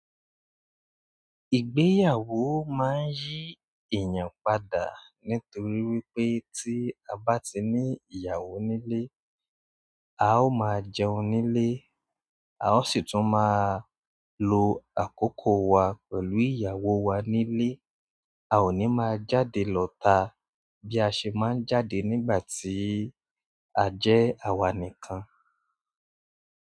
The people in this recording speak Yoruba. Ìgbéyàwó máa ń yí èèyàn padà nítorí wípé tí a bá ti ní ìyàwó nílé, a ó máa jẹun nílé, a ó sì tún máa lo àkókò wa pẹ̀lú ìyàwó wa nílé, a ò ní máa jáde lọta bí a ṣe máa ń jáde nígbà tí a jẹ́ àwa nìkan.